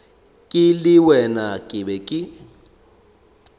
ke le wena ke be